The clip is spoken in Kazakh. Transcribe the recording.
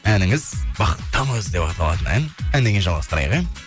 әніңіз бақыттымыз деп аталатын ән әннен кейін жалғастырайық ә